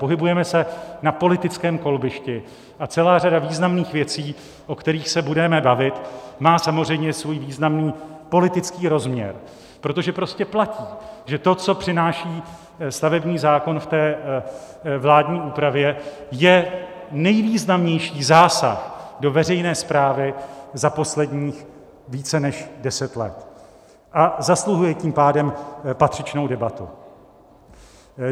Pohybujeme se na politickém kolbišti a celá řada významných věcí, o kterých se budeme bavit, má samozřejmě svůj významný politický rozměr, protože prostě platí, že to, co přináší stavební zákon v té vládní úpravě, je nejvýznamnější zásah do veřejné správy za posledních více než deset let, a zasluhuje tím pádem patřičnou debatu.